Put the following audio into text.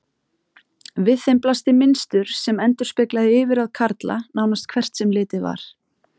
Við þeim blasti mynstur sem endurspeglaði yfirráð karla, nánast hvert sem litið var.